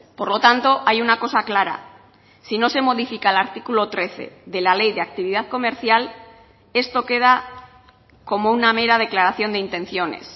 por lo tanto hay una cosa clara si no se modifica el artículo trece de la ley de actividad comercial esto queda como una mera declaración de intenciones